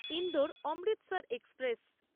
Indore Amritsar express